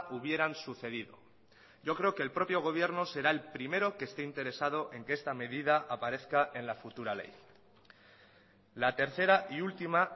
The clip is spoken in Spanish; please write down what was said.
hubieran sucedido yo creo que el propio gobierno será el primero que esté interesado en que esta medida aparezca en la futura ley la tercera y última